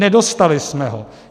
Nedostali jsme ho.